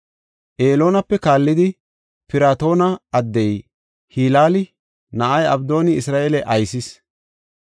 Eloonape kaallidi, Piratoona addey, Hilaala na7ay Abdooni Isra7eele aysis.